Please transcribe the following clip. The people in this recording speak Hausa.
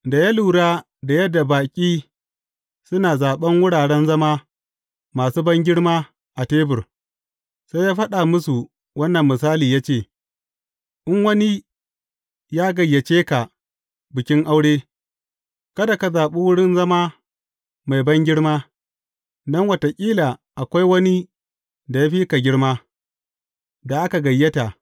Da ya lura da yadda baƙi suna zaɓan wuraren zama masu bangirma a tebur, sai ya faɗa musu wannan misali, ya ce; In wani ya gayyace ka bikin aure, kada ka zaɓi wurin zama mai bangirma, don wataƙila akwai wani da ya fi ka girma, da aka gayyata.